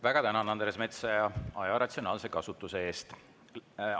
Väga tänan, Andres Metsoja, aja ratsionaalse kasutuse eest!